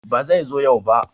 Ba zai zo yau ba